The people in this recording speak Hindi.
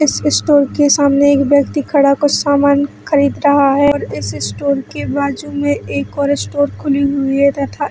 इस स्टोर के सामने एक व्यक्ति खड़ा कुछ सामान खरीद रहा है और इस स्टोर के बाजू में एक और स्टोर खुली हुई है तथा--